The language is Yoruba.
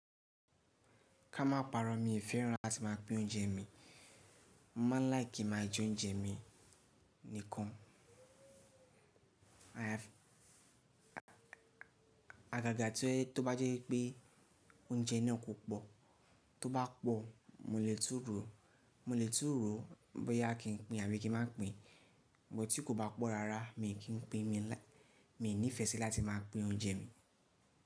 Ká máa parọ́, mí i fẹ́ràn láti máa pín oúnjẹ mi. Mo máa ń like kí n má jẹ oúnjẹ mi nìkan. Àgàgà tó bá jẹ́ wi pé oúnjẹ náà kò pọ̀, tó bá pọ̀ mo lè tún ro, mo lè tún ro bóyá kí n pín àbí kí má pín. But ti kò bá pọ̀ rárá mi kì í pín, mi ní ìfẹ́ sí láti máa pín oúnjẹ mi.